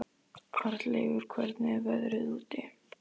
Arnleifur, hvernig er veðrið úti?